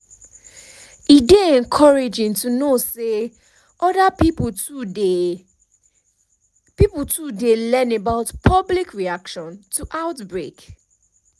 e dey encouraging to know say other pipo too dey pipo too dey learn about public reaction to outbreak